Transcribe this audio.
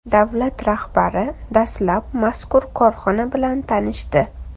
Davlat rahbari dastlab mazkur korxona bilan tanishdi.